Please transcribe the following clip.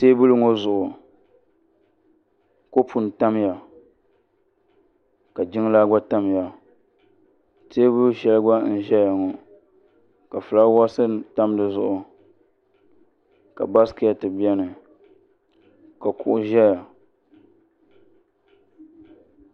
teebuli ŋɔ zuɣu kopu n tamya ka jiŋlaa gba tamya teebuli shɛli gba n ʒɛya ŋɔ ka fulaawaasi nim tam dizuɣu ka baskɛt biɛni ka kuɣu ʒɛya